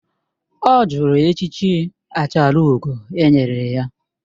Ọ jụrụ echichi achalugo e nyere ya